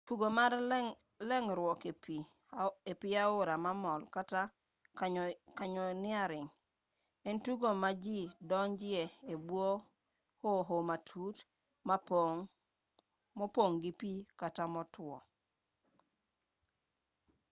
tugo mar mar leng'ruok e pi aora mamol kata: canyoneering en tugo ma ji donjoe e bwo hoho matut mopong' gi pi kata motwo